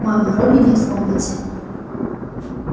мама робби нет в комнате